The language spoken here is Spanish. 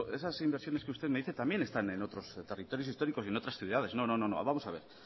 esas inversiones que usted me dice también están en otros territorios históricos y en otras ciudades no vamos a ver